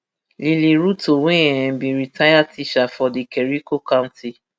lily ruto wey um be retired teacher for di kericho county